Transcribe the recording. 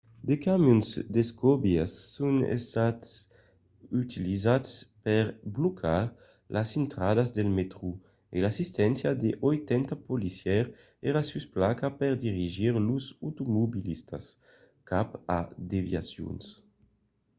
de camions d'escobilhas son estats utilizats per blocar las intradas del mètro e l'assisténcia de 80 policièrs èra sus plaça per dirigir los automobilistas cap a de desviacions